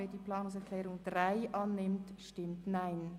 Wer die Planungserklärung 2 annehmen will, stimmt Ja,